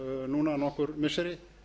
núna nokkur missiri